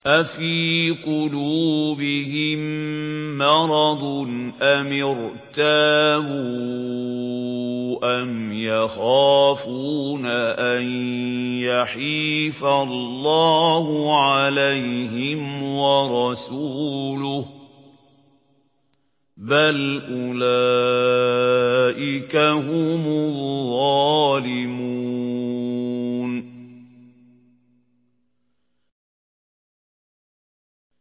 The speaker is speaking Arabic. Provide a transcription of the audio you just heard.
أَفِي قُلُوبِهِم مَّرَضٌ أَمِ ارْتَابُوا أَمْ يَخَافُونَ أَن يَحِيفَ اللَّهُ عَلَيْهِمْ وَرَسُولُهُ ۚ بَلْ أُولَٰئِكَ هُمُ الظَّالِمُونَ